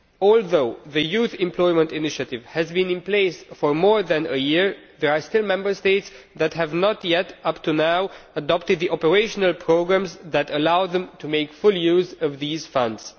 Although the Youth Employment Initiative has been in place for more than a year, there are still Member States that have not yet up to now adopted the operational programmes that allow them to make full use of these funds.